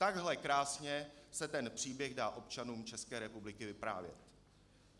Takhle krásně se ten příběh dá občanům České republiky vyprávět.